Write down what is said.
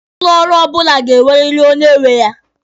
Ụlọ ọrụ ọbụla ga-enweriri onye nwe ya.